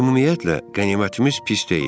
Ümumiyyətlə qənimətimiz pis deyildi.